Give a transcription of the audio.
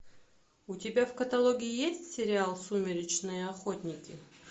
у тебя в каталоге есть сериал сумеречные охотники